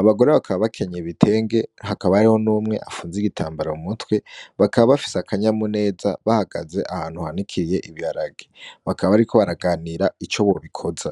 ,abagore bakaba bekenyeye ibitenge , hakaba hariho n'umwe afunze igitambara mu mutwe bakaba bafise akanyamuneza bahagaze ahantu hanikiye ibiharage bakaba bariko baraganira ico bobikoza.